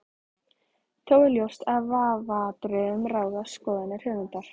Þó er ljóst að í vafaatriðum ráða skoðanir höfundar.